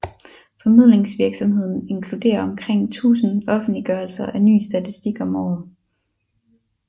Formidlingsvirksomheden inkluderer omkring 1000 offentliggørelser af ny statistik om året